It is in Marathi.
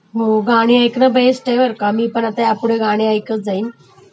हो गाणी ऐकणं बेस्ट आहे बर का.. मी पण ह्यापुढे गाणी ऐकत जाईन.